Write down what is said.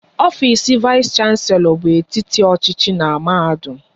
Ofisi vais shanselo bụ etiti ọchịchị n'mahadum